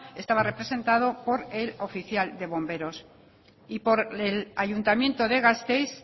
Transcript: estaba representado por el oficial de bomberos y por el ayuntamiento de gasteiz